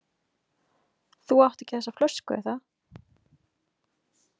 Þú átt ekki þessa flösku, er það?